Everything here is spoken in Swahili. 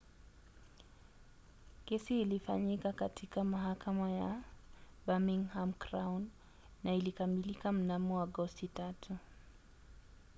kesi ilifanyika katika mahakama ya birmingham crown na ilikamilika mnamo agosti 3